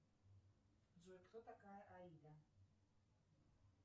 джой кто такая аида